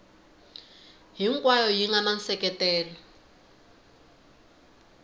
hinkwayo yi nga na nseketelo